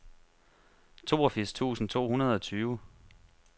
toogfirs tusind to hundrede og tyve